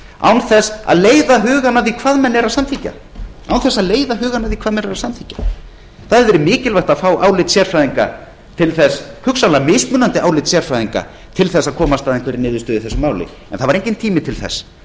án þess að leiða hugann að því hvað menn eru að samþykkja það hefði verið mikilvægt að fá álit sérfræðinga til þess hugsanlega mismunandi álit sérfræðinga til að komast að einhverri niðurstöðu í þessu máli en það var enginn tími til þess það